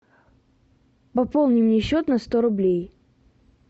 пополни мне счет на сто рублей